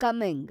Kameng